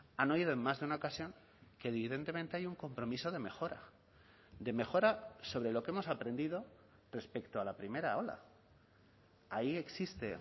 han oído en más de una ocasión que evidentemente hay un compromiso de mejora de mejora sobre lo que hemos aprendido respecto a la primera ola ahí existe